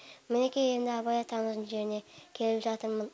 мінекей енді абай атамыздың жеріне келіп жатырмын